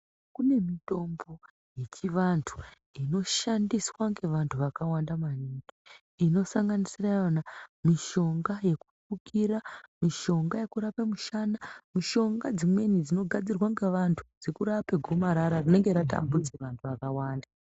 Kune mitombo yechivantu inoshandiswa ngevantu vakawanda maningi. Inosanganisira yona mishonga yekufukira, mishonga yekurape mishana. Mishonga dzimweni dzinogadzirwe ngevantu dzekurape gomarara rinenge ratambudze vantu vakawanda.